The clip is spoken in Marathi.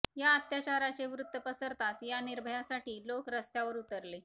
या अत्याचाराचे वृत्त पसरताच या निर्भयासाठी लोक रस्त्यावर उतरले